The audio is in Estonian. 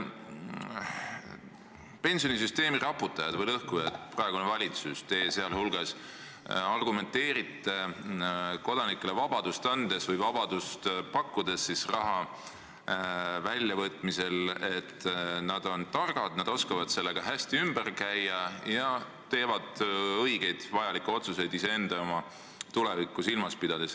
Pensionisüsteemi raputajad või lõhkujad, praegune valitsus, teie seal hulgas, argumenteerivad kodanikele raha väljavõtmiseks vabadust pakkudes, et nad on targad, nad oskavad sellega hästi ümber käia ja teevad õigeid, vajalikke otsuseid iseenda tulevikku silmas pidades.